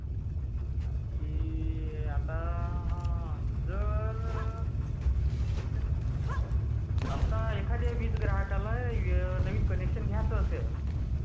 आणखी........आता जर एखद्या ग्राहकाला नवीन कनेक्शन घ्यायाच असेल...